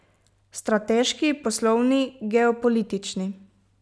Strateški, poslovni, geopolitični.